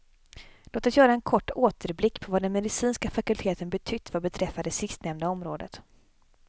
Låt oss göra en kort återblick på vad den medicinska fakulteten betytt vad beträffar det sistnämnda området.